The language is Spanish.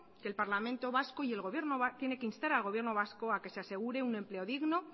que el parlamento vasco tiene que instar al gobierno vasco a que se asegure un empleo digno